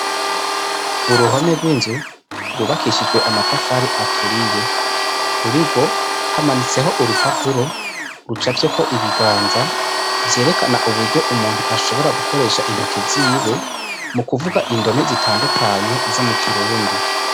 Uruhome rw'inzu rwubakishijwe amatafari aturiye, kuri rwo hamanitseko urupapuro rucafyeko ibiganza vyerekana uburyo umuntu ashobora gukoresha intoke ziwe mu kuvuga indome zitandukanye zo mu kirundi.